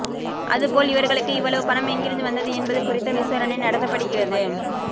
அது போல் இவர்களுக்கு இவ்வளவு பணம் எங்கிருந்து வந்தது என்பது குறித்து விசாரணை நடத்தப்படுகிறது